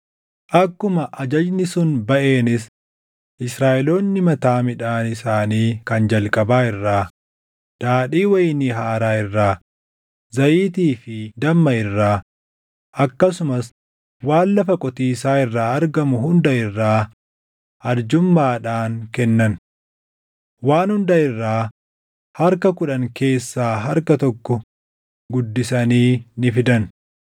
Akkuma ajajni sun baʼeenis Israaʼeloonni mataa midhaan isaanii kan jalqabaa irraa, daadhii wayinii haaraa irraa, zayitii fi damma irraa akkasumas waan lafa qotiisaa irraa argamu hunda irraa arjummaadhaan kennan. Waan hunda irraa harka kudhan keessaa harka tokko guddisanii ni fidan.